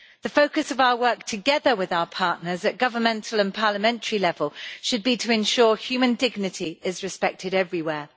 The focus of our work with our partners at governmental and parliamentary level should be to ensure human dignity is respected everywhere.